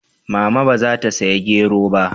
Mama ba za ta saya gero ba?